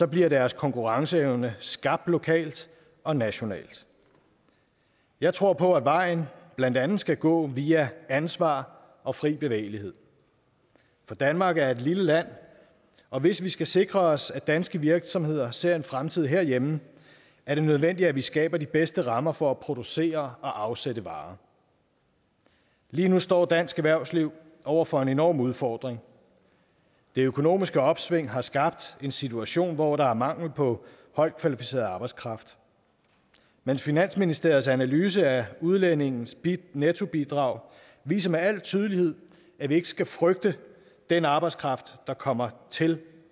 bliver deres konkurrenceevne skabt lokalt og nationalt jeg tror på at vejen blandt andet skal gå via ansvar og fri bevægelighed for danmark er et lille land og hvis vi skal sikre os at danske virksomheder ser en fremtid herhjemme er det nødvendigt at vi skaber de bedste rammer for at producere og afsætte varer lige nu står dansk erhvervsliv over for en enorm udfordring det økonomiske opsving har skabt en situation hvor der er mangel på højtkvalificeret arbejdskraft men finansministeriets analyse af udlændinges nettobidrag viser med al tydelighed at vi ikke skal frygte den arbejdskraft der kommer til